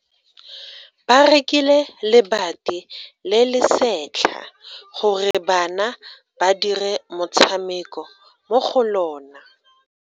Ba rekile lebati le le setlha gore bana ba dire motshameko mo go lona.